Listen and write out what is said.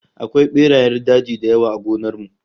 Akwai berayen daji da yawa a gonar mu